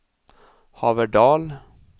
Haverdal